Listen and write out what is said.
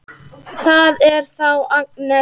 Það er þá Agnes!